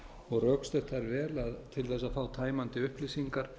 og rökstutt þær vel að til þess að fá tæmandi upplýsingar